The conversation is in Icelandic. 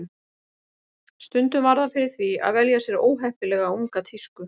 Stundum varð hann fyrir því að velja sér óheppilega unga tísku.